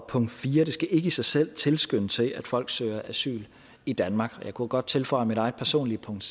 punkt 4 det skal ikke i sig selv tilskynde til at folk søger asyl i danmark jeg kunne jo godt tilføje mit eget personlige punkt